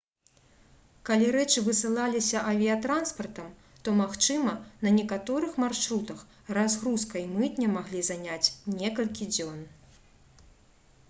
калі рэчы высылаліся авіятранспартам то магчыма на некаторых маршрутах разгрузка і мытня маглі заняць некалькі дзён